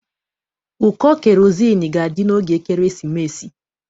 Ụkọ kerozini ga-adị n'oge ekeresimesi